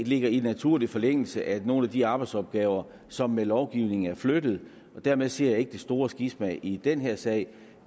ligger i naturlig forlængelse af nogle af de arbejdsopgaver som med lovgivningen er flyttet dermed ser jeg ikke det store skisma i den her sag